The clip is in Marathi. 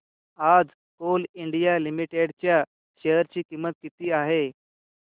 आज कोल इंडिया लिमिटेड च्या शेअर ची किंमत किती आहे